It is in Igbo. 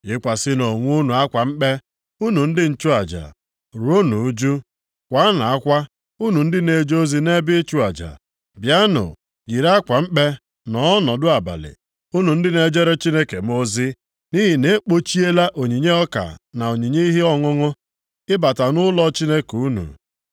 Yikwasịnụ onwe unu akwa mkpe, unu ndị nchụaja; ruonụ ụjụ, kwaanụ akwa, unu ndị na-eje ozi nʼebe ịchụ aja. Bịanụ, yiri akwa mkpe nọ ọnọdụ abalị unu ndị na-ejere Chineke m ozi nʼihi na egbochiela onyinye ọka na onyinye ihe ọṅụṅụ ịbata nʼụlọ Chineke unu.